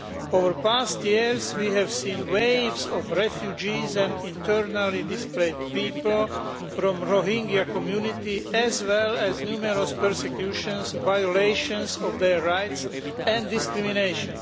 Over past years, we have seen waves of refugees and internally displaced people from the Rohingya community as well as numerous persecutions, violations of their rights and discrimination.